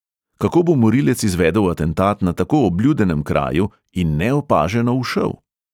Kako bo morilec izvedel atentat na tako obljudenem kraju in neopaženo ušel?